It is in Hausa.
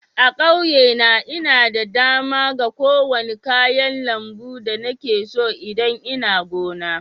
A'kauye na, nna da dama ga kowani kayan lambu da nike so idan nna gona.